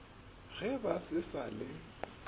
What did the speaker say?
ge ba se sa le